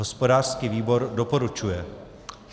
Hospodářský výbor doporučuje.